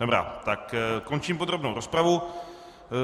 Dobrá, tak končím podrobnou rozpravu.